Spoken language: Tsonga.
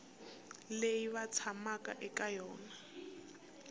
leyi va tshamaka eka yona